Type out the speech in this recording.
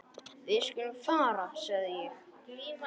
Við skulum fara sagði ég.